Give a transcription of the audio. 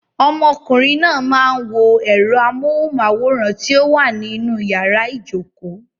Ọmọkùnrin náà máa ń wo ẹ̀rọ amóhùnmáwòrán ti ó wà ní inú yàrá ìjokòó.